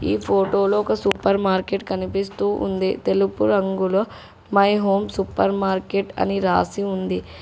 ఈ ఫోటోలో ఒక సూపర్ మార్కెట్ కనిపిస్తూ ఉంది తెలుపు రంగులో మై హోమ్ సూపర్ మార్కెట్ అని రాసి ఉంది.